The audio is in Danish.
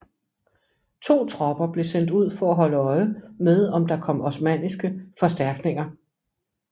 To tropper blev sendt ud for at holde øje med om der kom osmanniske forstærkninger